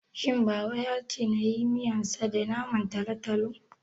shin baba yace nayi miyansa da Naman talotalo?